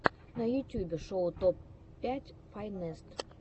на ютюбе шоу топ пять файнест